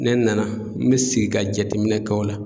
Ne nana n bɛ sigi ka jateminɛ kɛ o la